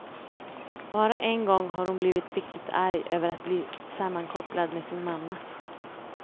Bara en gång har hon blivit riktigt arg över att bli sammankopplad med sin mamma.